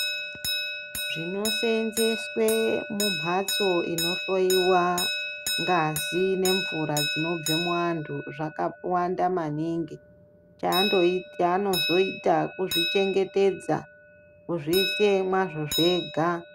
Zvinosenzeswe mumhatso inohloyiwa ngazi nemvura dzinobva muanhu chaanozoita kuzvichengetdza kuzviise mwazvo zvega.